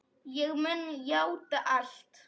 Ég mun játa allt.